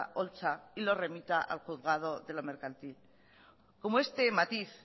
holtza y lo remita al juzgado de lo mercantil como este matiz